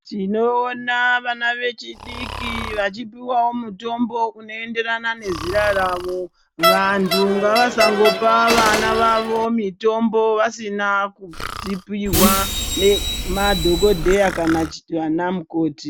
Tinoona vana vechidiki vachipuwawo mitombo unoenderana nezera ravo. Vantu ngavasangopa vana vavo mitombo vasina kudzipihwa nemadhokodheya kana vanamukoti.